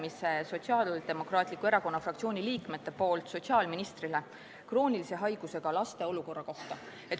Annan Sotsiaaldemokraatliku Erakonna fraktsiooni liikmete nimel sotsiaalministrile üle arupärimise kroonilise haigusega laste olukorra kohta.